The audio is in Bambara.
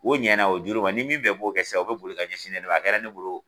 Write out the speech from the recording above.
O ɲana o juru ma ni min bɛɛ b'o kɛ sisan, o bɛ boli ka ɲɛsin ne de ma , a kɛra ne bolo